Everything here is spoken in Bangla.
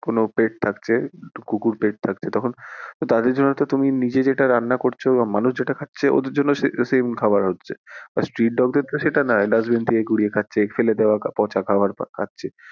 কোনো pet থাকছে কুকুর pet থাকছে তো তাদের জন্য তুমি নিজের এটা রান্না করছো মানুষ যেটা খাচ্ছে ওদের জন্য ও sa~same খাওয়ার হচ্ছে আর street dog দের ক্ষেত্রে সেটা না dustbin থেকে কুড়িয়ে খাচ্ছে ফেলে দেওয়া পচা খাবার খাচ্ছে।